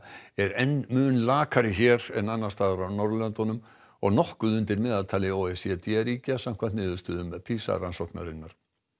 er enn mun lakari hér en annars staðar á Norðurlöndum og nokkuð undir meðaltali o e c d ríkja samkvæmt niðurstöðum PISA rannsóknarinnar